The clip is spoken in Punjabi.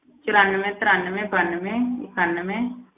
ਚੁਰਾਨਵੇਂ, ਤਰਾਨਵੇਂ, ਬਾਨਵੇਂ, ਇਕਾਨਵੇਂ।